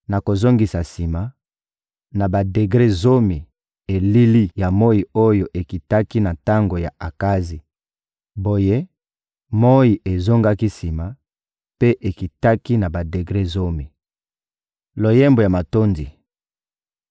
Nakozongisa sima, na badegre zomi, elili ya moyi oyo ekitaki na tango ya Akazi.›» Boye, moyi ezongaki sima, mpe ekitaki na badegre zomi. Loyembo ya matondi